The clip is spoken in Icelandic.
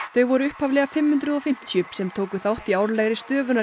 þau voru upphaflega fimm hundruð og fimmtíu sem tóku þátt í árlegri